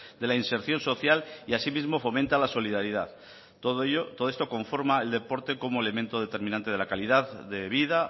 de la inserción social y asimismo fomenta la solidaridad todo esto conforma el deporte como elemento determinante de la calidad de vida